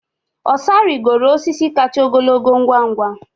Osa rigoro osisi kacha ogologo ngwa ngwa.